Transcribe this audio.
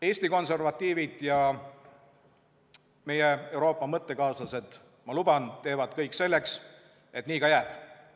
Eesti konservatiivid ja meie Euroopa mõttekaaslased, ma luban, teevad kõik selleks, et nii ka jääb.